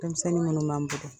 Dɛmisɛnni minnu b'an